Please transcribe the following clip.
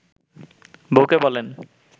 বউকে বলেন